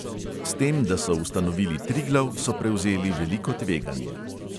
S tem, da so ustanovili triglav, so prevzeli veliko tveganje.